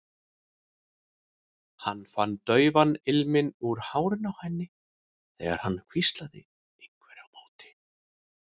Hann fann daufan ilminn úr hárinu á henni þegar hann hvíslaði einhverju á móti.